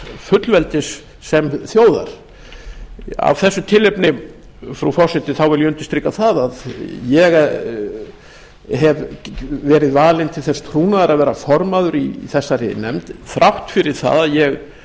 fullveldis sem þjóðar af þessu tilefni frú forseti vil ég undirstrika það að ég hef verið valinn til þess trúnaðar að vera formaður í þessari nefnd þrátt fyrir það að ég